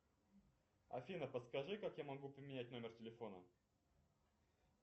афина подскажи как я могу поменять номер телефона